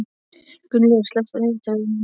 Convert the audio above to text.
Gunnlaugur, slökktu á niðurteljaranum.